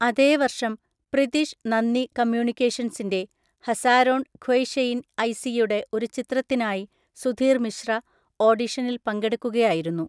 അതേ വർഷം, പ്രിതിഷ് നന്ദി കമ്മ്യൂണിക്കേഷൻസിൻ്റെ, ഹസാരോൺ ഖ്വയ്‌ഷെയിൻ ഐസിയുടെ ഒരു ചിത്രത്തിനായി സുധീർ മിശ്ര, ഓഡിഷനിൽ പങ്കെടുക്കുകയായിരുന്നു.